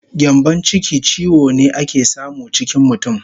Gyambon chiki chiwo ne ake samu chikin mutun